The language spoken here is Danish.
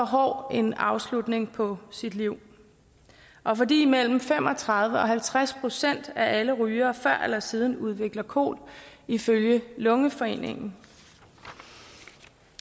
hård en afslutning på livet og fordi mellem fem og tredive procent og halvtreds procent af alle rygere før eller siden udvikler kol ifølge lungeforeningen